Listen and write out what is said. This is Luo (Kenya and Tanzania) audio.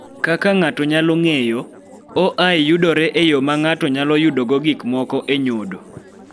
Kaka ng�ato nyalo ng�eyo, OI yudore e yo ma ng�ato nyalo yudogo gik moko e nyodo.